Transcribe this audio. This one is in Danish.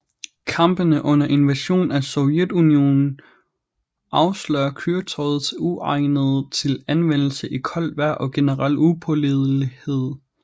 Kampene under invasionen af Sovjetunionen afslørede køretøjets uegnethed til anvendelse i koldt vejr og generelle upålidelighed